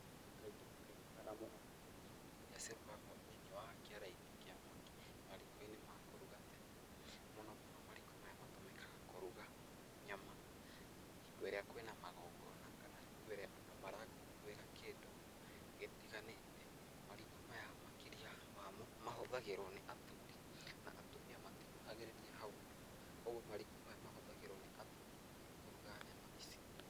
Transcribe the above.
Kaingĩ na kaingĩ kana mũno mũno irio irĩa cirugagwo thĩiniĩ wa kĩara-inĩ kĩa mwaki, mariko-inĩ ma kũruga tene, mũno mũno mariko maya matũmĩkaga kũruga nyama, hingo ĩrĩa kwĩna magongona kana hingo ĩrĩa andũ marakũngũĩra kĩndũ gĩtiganĩte, mariko maya makĩria wamo, mahũthagĩrwo nĩ athuri na atumia matikuhagĩrĩria hau mũno, kũguo mariko maya mahũthagĩrwo nĩ athuri kũruga nyama ici.